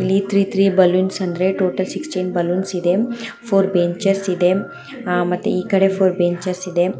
ಇಲ್ಲಿ three three balloons ಅಂದರೆ total sixteen balloons ಇದೆ ಫೋರ್ ಬೆಂಚೆಸ್ ಇದೆ ಆ ಮತ್ತೆ ಈ ಕಡೆ ಫೋರ್ ಬೆಂಚೆಸ್ ಇದೆ.